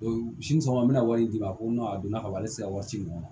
Sini sɔgɔma an bɛna wari di a ma ko n'a donna ka ban ale sera wari ci nɔ